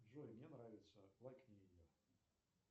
джой мне нравится лайкни ее